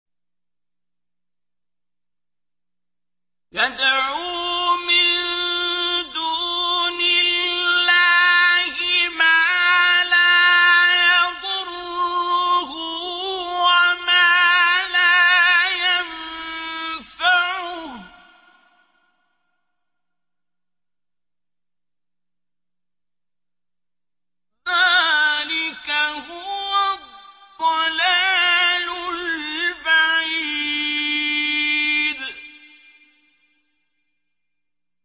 يَدْعُو مِن دُونِ اللَّهِ مَا لَا يَضُرُّهُ وَمَا لَا يَنفَعُهُ ۚ ذَٰلِكَ هُوَ الضَّلَالُ الْبَعِيدُ